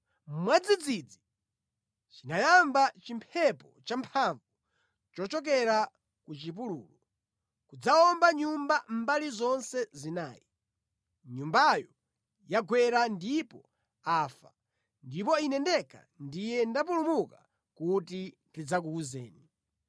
mwadzidzidzi chinayamba chimphepo champhamvu chochokera ku chipululu, nʼkudzawomba nyumba mbali zonse zinayi. Nyumbayo yawagwera ndipo afa, ndipo ine ndekha ndiye ndapulumuka kuti ndidzakuwuzeni!”